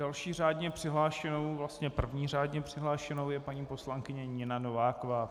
Další řádně přihlášenou, vlastně první řádně přihlášenou je paní poslankyně Nina Nováková.